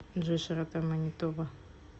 джой широта манитоба